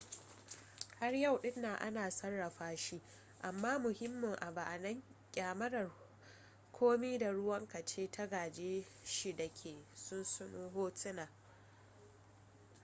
har yau din nan ana sarrafa shi amma muhimmin abu a nan kyamarar komi da ruwanka ce ta gaje shi da ke sunsuno hotuna